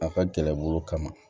A ka gɛlɛn bolo kama